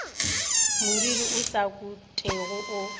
moriri o sa kotwego o